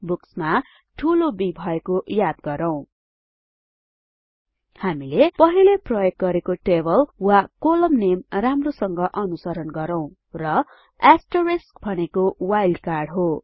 बुक्समा ठुलो B भएको याद गरौँ हामीले पहिले प्रयोग गरेको टेबल वा कोलम नेम राम्रोसँग अनुसरण गरौँ र भनेको वाइल्ड कार्ड हो